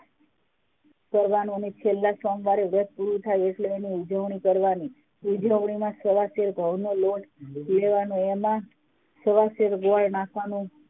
કરવાનું અને છેલ્લા સોમવાર એ વ્રત પૂરું થાય એટલે એની ઉજવણી કરવાની ઉજવણીમાં સવાશેર ઘઉં નો લોટ લેવાનો એમાં સવાશેર નાખવાનું